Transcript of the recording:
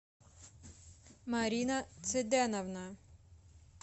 марина цеденовна